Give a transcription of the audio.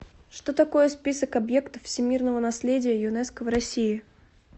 что такое список объектов всемирного наследия юнеско в россии